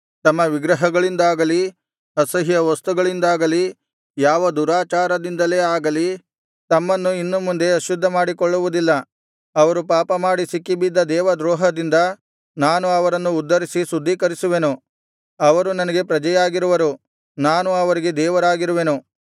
ತಮ್ಮ ವಿಗ್ರಹಗಳಿಂದಾಗಲಿ ಅಸಹ್ಯವಸ್ತುಗಳಿಂದಾಗಲಿ ಯಾವ ದುರಾಚಾರದಿಂದಲೇ ಆಗಲಿ ತಮ್ಮನ್ನು ಇನ್ನು ಮುಂದೆ ಅಶುದ್ಧ ಮಾಡಿಕೊಳ್ಳುವುದಿಲ್ಲ ಅವರು ಪಾಪಮಾಡಿ ಸಿಕ್ಕಿಬಿದ್ದ ದೇವದ್ರೋಹದಿಂದ ನಾನು ಅವರನ್ನು ಉದ್ಧರಿಸಿ ಶುದ್ಧೀಕರಿಸುವೆನು ಅವರು ನನಗೆ ಪ್ರಜೆಯಾಗಿರುವರು ನಾನು ಅವರಿಗೆ ದೇವರಾಗಿರುವೆನು